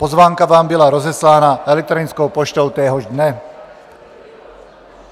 Pozvánka vám byla rozeslána elektronickou poštou téhož dne.